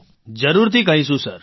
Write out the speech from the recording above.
રાજેશ પ્રજાપતિઃ જરૂરથી કહીશું સર